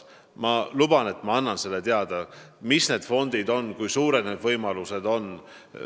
Ma luban, et annan teile teada, kui suured nende fondide võimalused on.